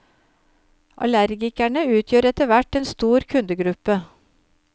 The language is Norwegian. Allergikerne utgjør etterhvert en stor kundegruppe.